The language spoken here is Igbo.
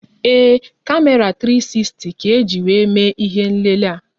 Ee, kamera 360 ka-eji wéé mee ihé nlélé a